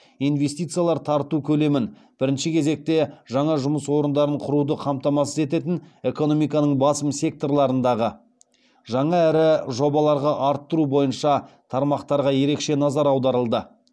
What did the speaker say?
инвестициялар тарту көлемін бірінші кезекте жаңа жұмыс орындарын құруды қамтамасыз ететін экономиканың басым секторларындағы жаңа ірі жобаларға арттыру бойынша тармақтарға ерекше назар аударылды